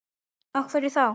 Af hverju þá?